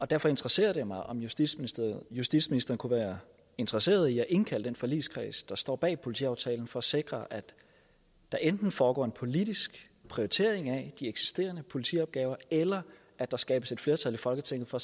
derfor interesserer det mig om justitsministeren justitsministeren kunne være interesseret i at indkalde den forligskreds der står bag politiaftalen for at sikre at der enten foregår en politisk prioritering af de eksisterende politiopgaver eller at der skabes et flertal i folketinget for